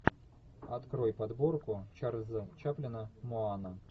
открой подборку чарльза чаплина муана